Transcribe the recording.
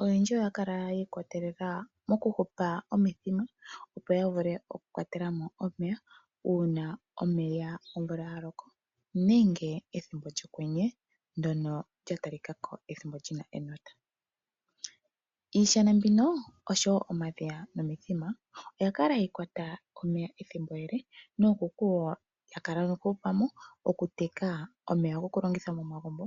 oyendji oya kala yiikwatelela moku hupa omithima, opo ya vule oku kwatelemo omeya uuna omvula ya loko nenge ethimbo lyokwenye ndyono lya talikako ethimbo lyina enota. Iishana mbino oshowo omadhiya nomithima oyali hayi kwata omeya ethimbo ele nookuku oya kala nokuhupamo, okuteka omeya goku longitha momagumbo.